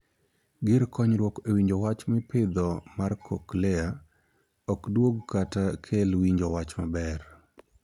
Gir konyruok e winjo wach mipidho mar 'cochlear' ok duog kata kel winjo wach maber.